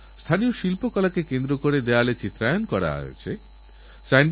আমরা সুন্দর জীবন চাই বাচ্চাদের ভালোভবিষ্যৎ চাই প্রত্যেকের প্রয়োজন আলাদা আলাদা